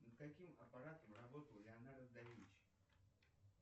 над каким аппаратом работал леонардо да винчи